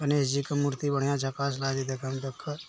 गणेश जी की मूर्ति बढ़िया झकास लागय छे देखे में देखा ।